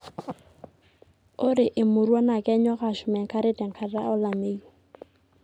ore emurua naa kenyok aashum enkare tenkata ulameyu